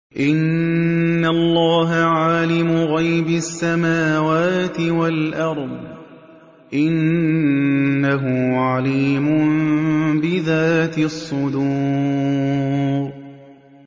إِنَّ اللَّهَ عَالِمُ غَيْبِ السَّمَاوَاتِ وَالْأَرْضِ ۚ إِنَّهُ عَلِيمٌ بِذَاتِ الصُّدُورِ